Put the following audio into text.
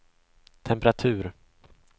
temperatur